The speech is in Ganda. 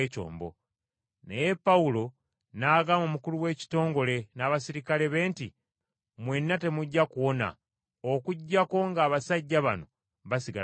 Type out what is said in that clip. Naye Pawulo n’agamba omukulu w’ekitongole n’abaserikale be nti, “Mwenna temujja kuwona okuggyako ng’abasajja bano basigala ku kyombo.”